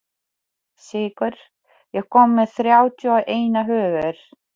Sigur, ég kom með þrjátíu og eina húfur!